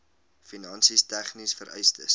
finansies tegniese vereistes